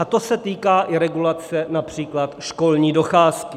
A to se týká i regulace například školní docházky.